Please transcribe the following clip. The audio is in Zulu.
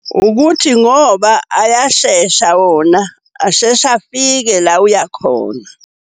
Ukuthi ngoba ayashesha wona, asheshe afike la uya khona.